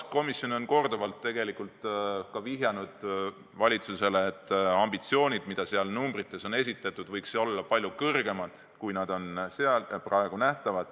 Komisjon on korduvalt valitsusele viidanud, et ambitsioonid, mis arengukavas numbrites on esitatud, võiks olla palju kõrgemad.